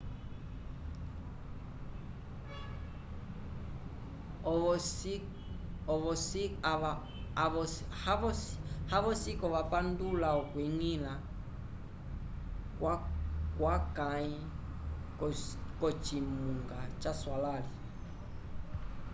havosiko vapandula okwiñgila kwakãyi k'ocimunga caswalãli